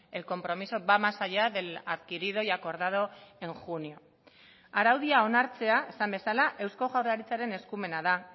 el compromiso va más allá del adquirido y acordado en junio araudia onartzea esan bezala eusko jaurlaritzaren eskumena da